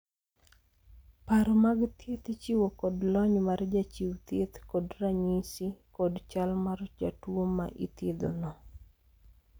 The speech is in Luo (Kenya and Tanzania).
paro mag thieth ichiwo kod lony mar jachiw thieth kod ranyisi kod chal mar jatuo ma ithiedhono